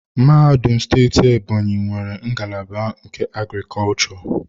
Mahadum steeti Ebonyi nwere ngalaba nke agriculture.